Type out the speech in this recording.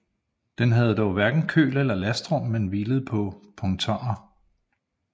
Den havde dog hverken køl eller lastrum men hvilede på pontoner